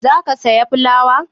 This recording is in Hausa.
Za ka saya fulawa?